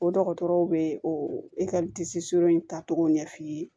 O dɔgɔtɔrɔw bɛ o in tacogo ɲɛf'i ye